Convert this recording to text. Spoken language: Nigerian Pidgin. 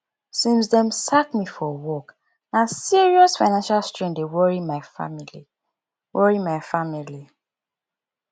since dem sack me from work na serious financial strain dey worry my family worry my family